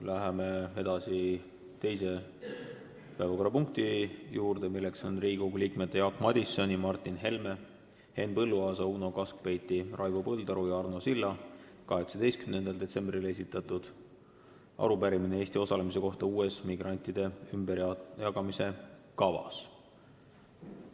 Läheme edasi teise päevakorrapunkti juurde, milleks on Riigikogu liikmete Jaak Madisoni, Martin Helme, Henn Põlluaasa, Uno Kaskpeiti, Raivo Põldaru ja Arno Silla 18. detsembril esitatud arupärimine Eesti osalemise kohta uues migrantide ümberjagamise kavas.